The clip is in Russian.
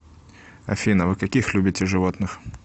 афина вы каких любите животных